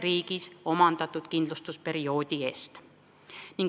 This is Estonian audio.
Lähtutakse konkreetsest pensionikindlustusperioodist.